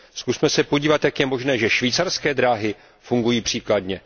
Zkusme se podívat, jak je možné, že švýcarské dráhy fungují příkladně.